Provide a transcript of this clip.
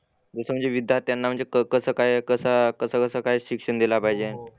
जसं म्हणजे विद्यार्थ्यांना म्हणजे क कसं काय कसा कसं कसं काय शिक्षण दिला पाहिजे.